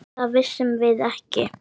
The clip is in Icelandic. Það vissum við ekki.